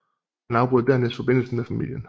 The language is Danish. Han afbrød dernæst forbindelsen med familien